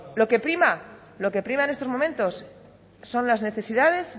lo que prima lo que prima en estos momentos son las necesidades